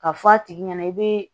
Ka fɔ a tigi ɲɛna i bɛ